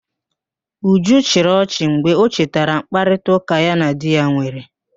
Uju chịrị ọchị mgbe ọ chetara mkparịtaụ́ká ya na di ya nwere